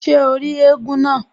Ṣé o rí éégún náà?